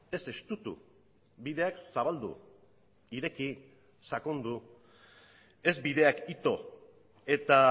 ez estutu bideak zabaldu ireki sakondu ez bideak ito eta